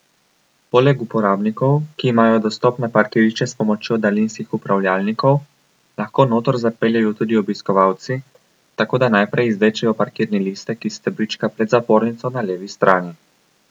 Poleg uporabnikov, ki imajo dostop na parkirišče s pomočjo daljinskih upravljalnikov, lahko noter zapeljejo tudi obiskovalci, tako da najprej izvlečejo parkirni listek iz stebrička pred zapornico na levi strani.